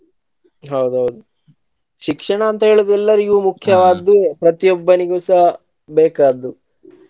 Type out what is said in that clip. ಹೌದು ಹೌದು ಶಿಕ್ಷಣ ಅಂತ ಹೇಳೋದು ಎಲ್ಲರಿಗೂ ಮುಖ್ಯ ಅದು ಪ್ರತಿ ಒಬ್ಬರಿಗೂ ಸಹ ಬೇಕಾದ್ದು.